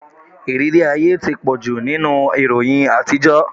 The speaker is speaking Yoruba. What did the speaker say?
Ìrírí ayé ti pọ̀jù nínú ìròyìn àtijọ́.